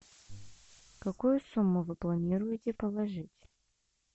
какую сумму вы планируете положить